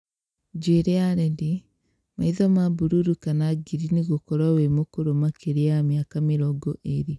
Njuĩrĩ ya redi, maitho ma bururu kana ngirini gũkorwo wĩ mũkũrũ makĩria ya mĩaka mĩrongo ĩrĩ